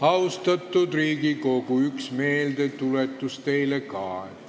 Austatud Riigikogu, üks meeldetuletus teile ka.